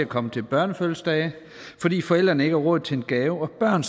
komme til børnefødselsdage fordi forældrene ikke har råd til en gave om børn